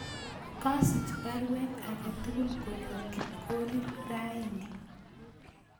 Kasich paruet agetugul koyop kipkorir raini